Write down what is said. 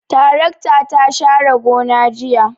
Tarakta ta share gona jiya.